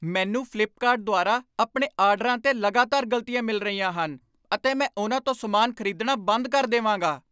ਮੈਨੂੰ ਫਲਿੱਪਕਾਰਟ ਦੁਆਰਾ ਆਪਣੇ ਆਰਡਰਾਂ 'ਤੇ ਲਗਾਤਾਰ ਗਲਤੀਆ ਮਿਲ ਰਹੀਆਂ ਹਨ ਅਤੇ ਮੈਂ ਉਹਨਾਂ ਤੋਂ ਸਮਾਨ ਖਰੀਦਣਾ ਬੰਦ ਕਰ ਦੇਵਾਂਗਾ।